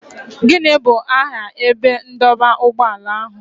Gịnị bụ aha ebe ndọba ụgbọala ahụ?